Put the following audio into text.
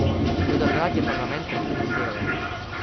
Do takrat je parlament prekinil delo.